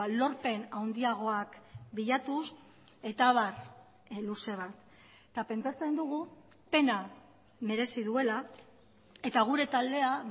lorpen handiagoak bilatuz eta abar luze bat eta pentsatzen dugu pena merezi duela eta gure taldea